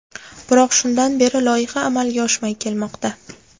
Biroq shundan beri loyiha amalga oshmay kelmoqda.